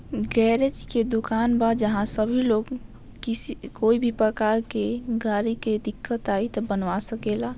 Garage के दुकान बा जहाँ सभी लोग किसी कोई भी प्रकार के गाड़ी के दिक्कत आई त बनवा सकेला।